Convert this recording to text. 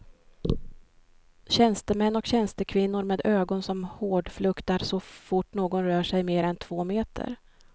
Tjänstemän och tjänstekvinnor med ögon som hårdfluktar så fort någon rör sig mer än två meter.